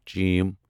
چ